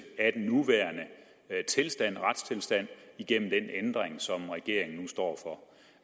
af den nuværende retstilstand igennem den ændring som regeringen nu står for